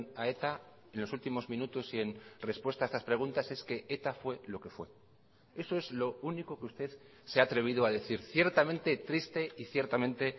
a eta en los últimos minutos y en respuesta a estas preguntas es que eta fue lo que fue eso es lo único que usted se ha atrevido a decir ciertamente triste y ciertamente